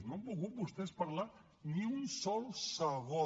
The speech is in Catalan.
no han volgut vostès parlar ni un sol segon